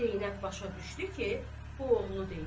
Zeynəb başa düşdü ki, bu oğlu deyil.